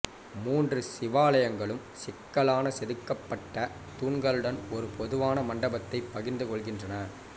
மூன்று சிவாலயங்களும் சிக்கலான செதுக்கப்பட்ட தூண்களுடன் ஒரு பொதுவான மண்டபத்தை பகிர்ந்து கொள்கின்றன